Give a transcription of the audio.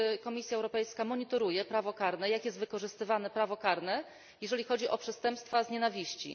Czy Komisja Europejska monitoruje prawo karne i jak jest wykorzystywane prawo karne, jeżeli chodzi o przestępstwa motywowane nienawiścią?